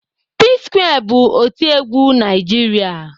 P-square bụ otiegwu Naijiria.